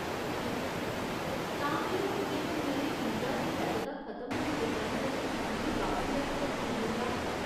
ठीक ऐ, तां केह् होग जेकर मेरे वीजा दी वैधता खत्म होने दे परैंत्त मिगी बापसी दा टिकट नेईं मिलदा ?